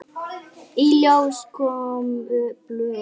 Í ljós komu blöð.